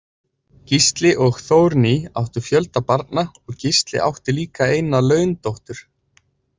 Gísli og Þórný áttu fjölda barna og Gísli átti líka eina laundóttur.